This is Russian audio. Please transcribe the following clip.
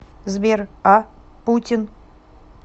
сбер а путин